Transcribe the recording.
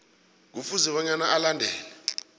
kufuze bona alandele